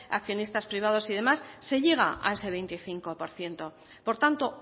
accionistas privados y demás se llega a ese veinticinco por ciento por tanto